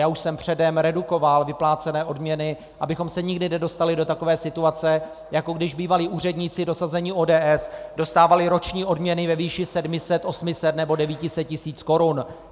Já už jsem předem redukoval vyplácené odměny, abychom se nikdy nedostali do takové situace, jako když bývalí úředníci dosazení ODS dostávali roční odměny ve výši 700, 800 nebo 900 tisíc korun.